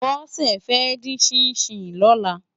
Bose fè din ṣìnṣín lòlá